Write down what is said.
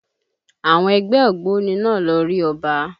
Àwọn ẹgbẹ́ ògbóni náà lọ rí Ọba